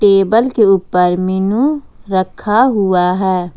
Table के ऊपर menu रखा हुआ है।